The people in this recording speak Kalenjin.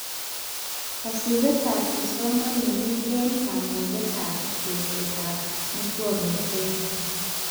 Kasubetab kipsomaning eng kamugetab tesetab muswoknotet